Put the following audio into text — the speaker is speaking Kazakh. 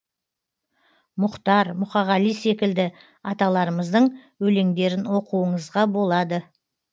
мұхтар мұқағали секілді аталарымыздың өлеңдерін оқуыңызға болады